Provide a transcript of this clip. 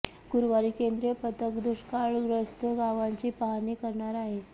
गुरुवारी केंद्रीय पथक दुष्काळग्रस्त गावांची पाहणी करणार आहे